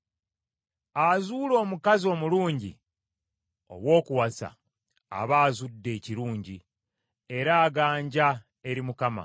Azuula omukazi omulungi ow’okuwasa aba azudde ekirungi, era aganja eri Mukama .